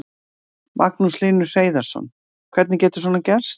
Magnús Hlynur Hreiðarsson: Hvernig getur svona gerst?